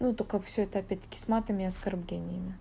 ну только всё это опять-таки с матами и оскорблениями